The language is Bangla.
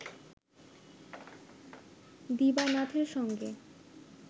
দিবানাথের সঙ্গে